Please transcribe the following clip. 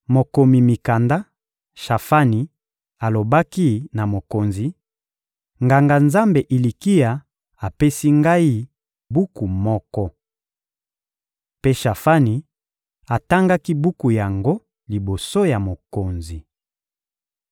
Mokomi mikanda, Shafani, alobaki na mokonzi: — Nganga-Nzambe Ilikia apesi ngai buku moko. Mpe Shafani atangaki buku yango liboso ya mokonzi.